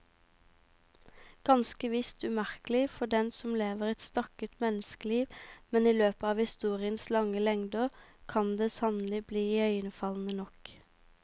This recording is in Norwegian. Ganske visst umerkelig for den som lever et stakket menneskeliv, men i løpet av historiens lange lengder kan det sannelig bli iøynefallende nok.